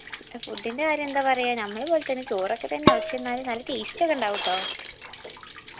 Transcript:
അപ്പൊ food ൻറെ കാര്യം എന്താ പറയാ ഞമ്മളെ പോൽത്തന്നെ ചോറൊക്കെ തന്നെ പക്ഷെന്നാലും നല്ല taste ഒക്കെ ഇണ്ടാവുട്ടോ